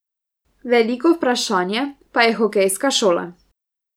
Veliko vprašanje pa je hokejska šola.